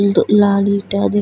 इ तो लाल ईटा दि --